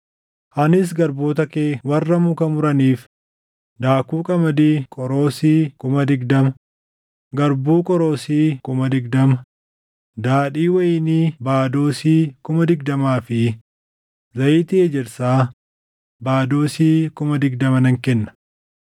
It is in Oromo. Anis garboota kee warra muka muraniif daakuu qamadii qoroosii kuma digdama, garbuu qoroosii kuma digdama, daadhii wayinii baadoosii kuma digdamaa fi zayitii ejersaa baadoosii kuma digdama nan kenna.”